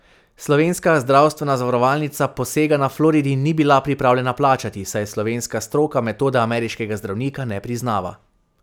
Slovenska zdravstvena zavarovalnica posega na Floridi ni bila pripravljena plačati, saj slovenska stroka metode ameriškega zdravnika ne priznava.